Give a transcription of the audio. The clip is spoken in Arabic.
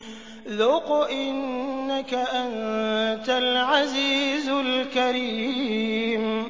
ذُقْ إِنَّكَ أَنتَ الْعَزِيزُ الْكَرِيمُ